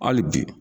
Hali bi